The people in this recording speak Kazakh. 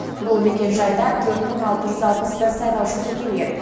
бұл мекенжайда төрт мың алты жүз алпыс бір сайлаушы тіркелген